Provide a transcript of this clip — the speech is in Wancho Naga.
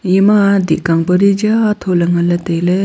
ima dih kang pa di jaa tho le nganley tailey.